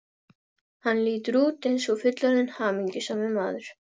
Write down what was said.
Hann lítur út eins og fullorðinn hamingjusamur maður.